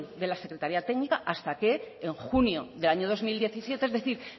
de la secretaria técnica hasta que en junio del año dos mil diecisiete es decir